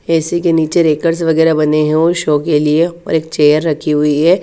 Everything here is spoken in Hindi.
ए सि के निचे रेकर्स वगेरा बने है और शो के लिए और एक चेयर रखी हुई है।